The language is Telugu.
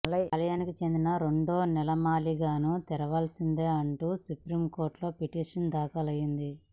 ఈ ఆలయానికి చెందిన రెండో నేలమాళిగను తెరవాల్సిందేనంటూ సుప్రీం కోర్టులో పిటిషన్ దాఖలైంది